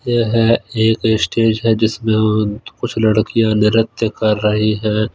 ये है एक स्टेज है जिसमें कुछ लड़कियां नृत्य कर रही हैं।